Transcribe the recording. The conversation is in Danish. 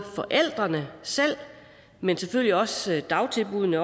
forældrene selv men selvfølgelig også dagtilbuddene